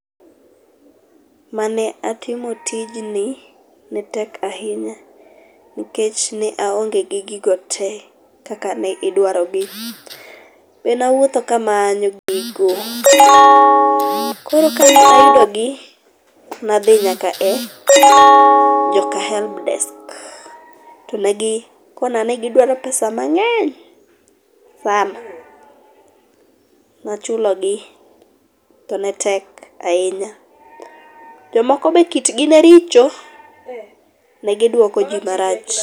Mane atimo tijni, netek ahinya, nikech ne aonge gi gigo te kaka ne idwarogi. Nenawuotho kamanyo gigo, koro kane ayudogi nadhi nyaka e joka helb desk to negi kona ni gidwaro pesa mang'eny sana , nachulogi to netek ahinya. Jomoko be kitgi ne richo. Ne gidwoko ji marach.